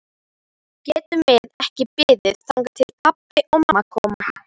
Getum við ekki beðið þangað til pabbi og mamma koma?